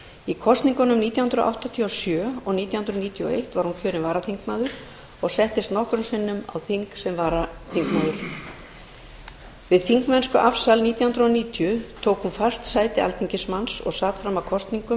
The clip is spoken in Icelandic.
í kosningunum nítján hundruð áttatíu og sjö og nítján hundruð níutíu og eitt var hún kjörin varaþingmaður og settist nokkrum sinnum á þing sem varaþingmaður við þingmennskuafsal nítján hundruð níutíu tók hún fast sæti alþingismanns og sat fram að kosningum